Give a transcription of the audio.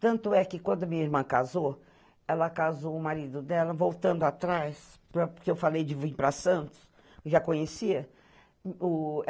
Tanto é que quando minha irmã casou, ela casou o marido dela, voltando atrás, porque eu falei de vir para Santos, já conhecia. O